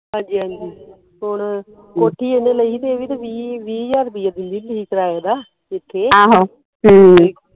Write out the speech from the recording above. ਹਾਂਜੀ ਹਾਂਜੀ ਹੁਣ ਕੋਠੀ ਇਹਨੇ ਲਈ ਹੀ ਇਹ ਵੀ ਵੀਹ ਵੀਹ ਹਜ਼ਾਰ ਰੁਪਈਆ ਦਿੰਦੀ ਹੁੰਦੀ ਹੀ ਕਿਰਾਏ ਦਾ ਇੱਥੇ